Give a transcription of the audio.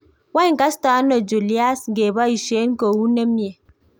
Wany kasto ano Julius ngeboisien kou nemie?